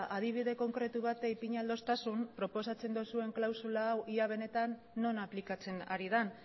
adibide konkretu bat ipini ahal didazun proposatzen duzuen klausula hau ia benetan non aplikatzen ari den